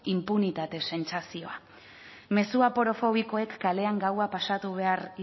inpunitate sentsazioa mezu aporofobikoek kalean gaua pasatu behar